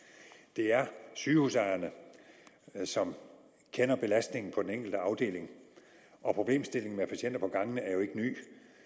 det er sygehusejerne som kender belastningen på den enkelte afdeling og problemstillingen med patienter på gangene er jo ikke ny